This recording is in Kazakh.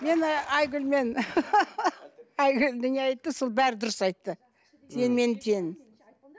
мен ы айгүлмен айгүл де не айтты сол бәрін дұрыс айтты теңмен тең